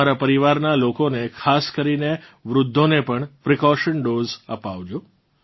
તમારાં પરિવારનાં લોકોને ખાસ કરીને વૃદ્ધોંને પણ પ્રિકોશન ડોઝ અપાવજો